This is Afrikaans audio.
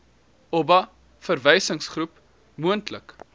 oba verwysingsgroep moontlik